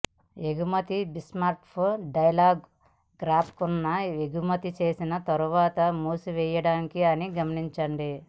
ఎగుమతి bitmap dialogue గ్రాఫిక్ను ఎగుమతి చేసిన తర్వాత మూసివేయదు అని గమనించండి